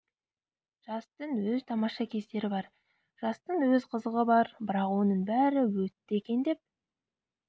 жастың өз тамаша кездері бар жастың өз қызығы бар бірақ оның бәрі өтті екен деп